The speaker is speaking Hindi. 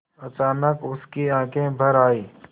अचानक उसकी आँखें भर आईं